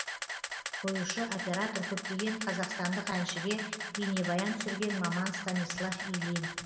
қоюшы оператор көптеген қазақстандық әншіге бейнебаян түсірген маман станислав ильин